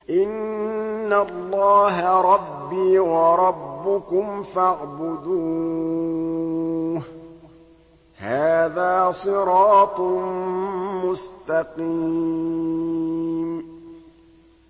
إِنَّ اللَّهَ رَبِّي وَرَبُّكُمْ فَاعْبُدُوهُ ۗ هَٰذَا صِرَاطٌ مُّسْتَقِيمٌ